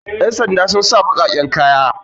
yansanda sun sa bakaken kaya